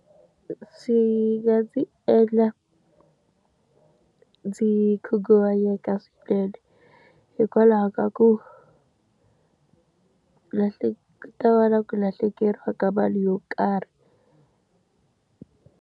Swi nga ndzi endla ndzi khunguvanyeka swinene, hikwalaho ka ku ku ta va na ku lahlekeriwa ka mali yo karhi.